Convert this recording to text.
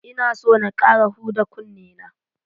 Ina so na ƙara huda kunne na.